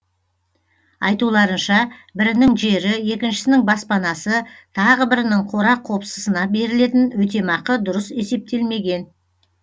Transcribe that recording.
айтуларынша бірінің жері екіншісінің баспанасы тағы бірінің қора қопсысына берілетін өтемақы дұрыс есептелмеген